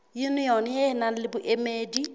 yunione e nang le boemedi